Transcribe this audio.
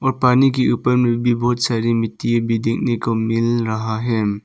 पानी के ऊपर में भी बहुत सारी मिट्टी भी देखने को मिल रहा है।